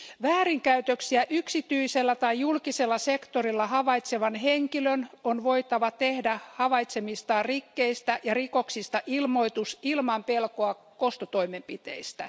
Väärinkäytöksiä yksityisellä tai julkisella sektorilla havaitsevan henkilön on voitava tehdä havaitsemistaan rikkeistä ja rikoksista ilmoitus ilman pelkoa kostotoimenpiteistä.